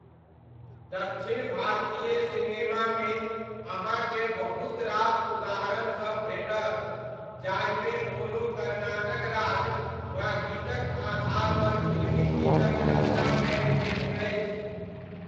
दक्षिण भारतीय सिनेमामे अहाँकेँ बहुत रास उदाहरणसब भेटत जाहिमे कोनो कर्नाटक राग वा गीतक आधारपर फिल्मी गीतक रचना कयल गेल अछि।